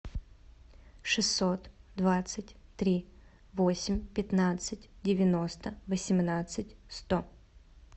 шестьсот двадцать три восемь пятнадцать девяносто восемнадцать сто